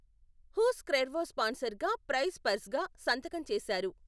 Hose Cuervo స్పాన్సర్గా, prize పర్స్గా సంతకం చేశారు.